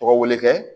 Tɔgɔ wele kɛ